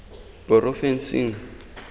porofensing